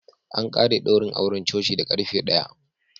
An ƙare daurin auren coci da ƙarfe ɗaya.